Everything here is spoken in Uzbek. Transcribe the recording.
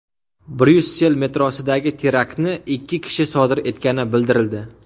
Bryussel metrosidagi teraktni ikki kishi sodir etgani bildirildi.